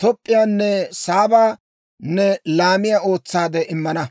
Toop'p'iyaanne Saaba ne laamiyaa ootsaade immana.